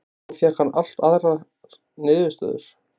Þá fékk hann allt aðrar niðurstöður.